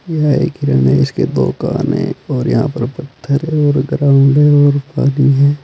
यह एक हिरन है इसके दो कान हैं और यहां पर पत्थर है और ग्राउंड है और पानी है।